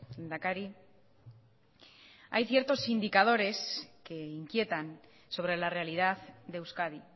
lehendakari hay ciertos indicadores que inquietan sobre la realidad de euskadi